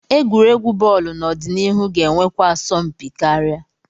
Egwuregwu bọọlụ n'ọdịnihu ga-enwekwa asọmpi karịa.